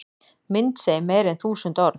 Mynd segir meira en þúsund orð